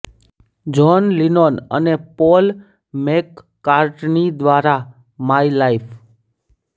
John Lennon અને Paul McCartney દ્વારા My life